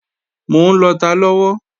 Mò ń lọta lọ́wọ́